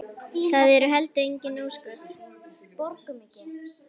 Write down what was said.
Það eru heldur engin ósköp.